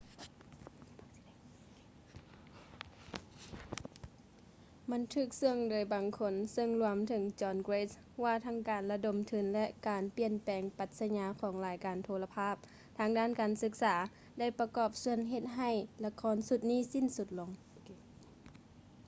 ມັນຖືກເຊຶ່ອໂດຍບາງຄົນ ເຊິ່ງລວມທັງ john grant ວ່າທັງການລະດົມທຶນ ແລະ ການປ່ຽນແປງປັດສະຍາຂອງລາຍການໂທລະພາບທາງດ້ານການສຶກສາໄດ້ປະກອບສ່ວນເຮັດໃຫ້ລະຄອນຊຸດສິ້ນສຸດລົງ